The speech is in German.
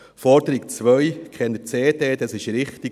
Die Forderung 2, keine CDs, ist richtig.